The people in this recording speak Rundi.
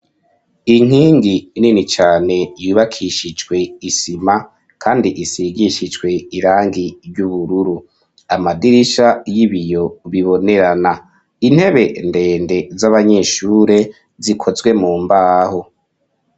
Inkingi nini cane, yubakishijwe isima, kandi, isigishijwe irangi ry'ubururu; amadirisha y'ibiyo, bibonerana; intebe ndende, z'abanyeshure, zikozwe mu mbaho.